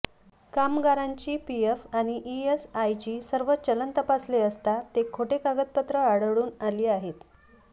कामगारांची पीएफ व ईएसआयची सर्व चलन तपासले असता ते खोटी कागदपत्रे आढळून आली आहे